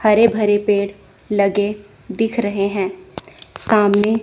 हरे भरे पेड़ लगे दिख रहे हैं सामने--